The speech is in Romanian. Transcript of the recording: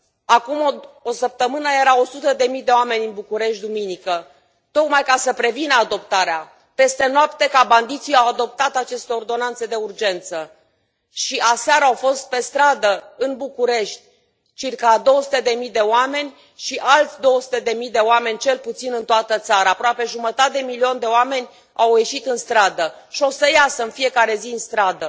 Acum o săptămână erau o sută de mii de oameni în București, duminică, tocmai ca să prevină adoptarea peste noapte, ca bandiții să adopte apoi aceste ordonanțe de urgență. Și aseară au fost pe stradă, în București, circa două sute de mii de oameni și alți două sute de mii de oameni, cel puțin, în toată țara, aproape jumătate de milion de oameni au ieșit în stradă și vor ieși în fiecare zi în stradă.